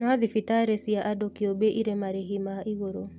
No thibitarĩ cia andũ kĩũmbe irĩ marĩhi ma igũrũ